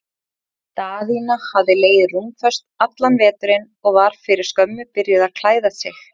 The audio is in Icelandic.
Daðína hafði legið rúmföst allan veturinn og var fyrir skömmu byrjuð að klæða sig.